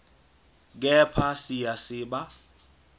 kepha siya siba